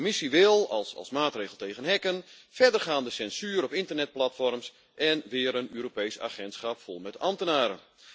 De Commissie wil als maatregel tegen hacken verdergaande censuur op internetplatforms en weer een Europees agentschap vol met ambtenaren.